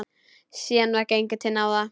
Síðan var gengið til náða.